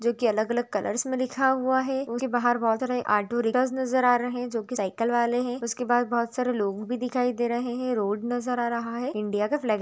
जो की अलग-अलग कलर्स मैं लिखा हुआ है उनके बहार बहोत सारे ऑटो रिक्शा नज़र आ रहे है जो की साइकल वाले है उसके बहार बहोत सारे लोग भी दिखाई दे रहे है रोड नज़र आ रहा है इंडिया का फ्लेग--